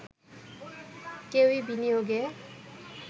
কেউই বিনিয়োগে